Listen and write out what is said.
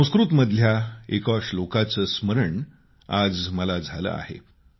संस्कृतमधल्या एका श्लोकाचं स्मरण आज मला झालं आहे